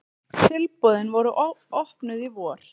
Tilboðin voru opnuð í vor.